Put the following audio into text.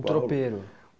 Tropeiro.